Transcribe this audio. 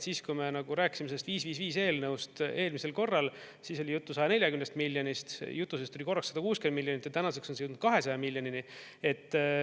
Siis kui me rääkisime sellest 555 eelnõust eelmisel korral, siis oli juttu 140 miljonist, jutu sees tuli korraks 160 miljonit ja tänaseks on see jõudnud 200 miljonini.